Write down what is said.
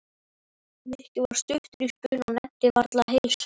Nikki var stuttur í spuna og nennti varla að heilsa